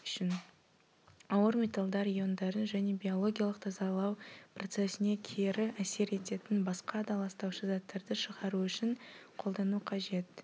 ауыр металлдар иондарын және биологиялық тазалау процессіне кері әсер ететін басқа да ластаушы заттарды шығару үшін қолдану қажет